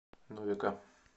новика